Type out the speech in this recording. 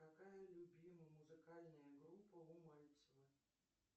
какая любимая музыкальная группа у мальцева